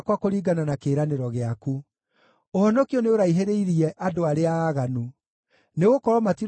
Ũhonokio nĩũraihĩrĩirie andũ arĩa aaganu, nĩgũkorwo matirongoragia kĩrĩra kĩa watho waku.